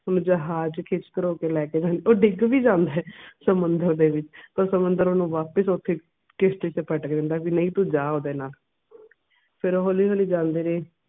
ਉਹ ਜਹਾਜ ਕਿਸ ਲੈਕੇ ਜਾਂ ਉਹ ਡਿੱਗ ਵੀ ਜਾਂਦਾ ਆ ਸਮੁੰਦਰ ਦੇ ਵਿਚ ਪਰ ਸਮੁੰਦਰ ਓਹਨੂੰ ਵਾਪਿਸ ਓਥੇ ਹੀ ਕਿਸਤੀ ਚ ਪਟੱਕ ਦਿੰਦਾ ਆ, ਵੀ ਨਹੀਂ ਤੂੰ ਜਾ ਓਹਦੇ ਨਾਲ ਫੇਰ ਉਹ ਹੌਲੀ ਹੌਲੀ ਜਾਂਦੇ ਰਹੇ